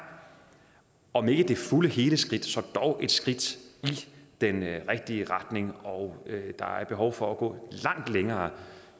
om ikke det fulde og hele skridt så dog et skridt i den rigtige retning og der er behov for at gå langt længere